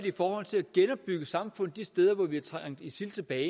i forhold til at genopbygge samfund de steder hvor vi har trængt isil tilbage